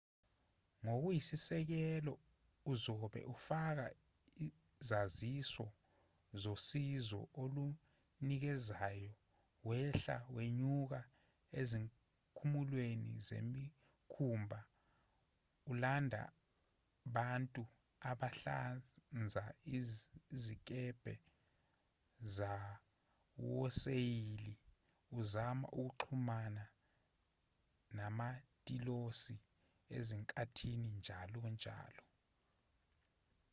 ngokuyisisekelo uzobe ufaka izaziso zosizo olunikezayo wehla wenyuka ezikhumulweni zemikhumbi ulanda bantu abahlanza izikebhe zawoseyili uzama ukuxhumana namatilosi ezinkantini njalo njalo